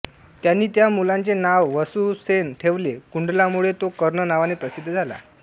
त्यांनी त्या मुलाचे नाव वसुसेन ठेवले कुंडलांमुळे तो कर्ण नावाने प्रसिद्ध झाला